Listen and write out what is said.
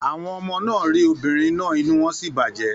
Àwọn ọmọ náà rí obìnrin náà inú wọn sì bàjẹ́.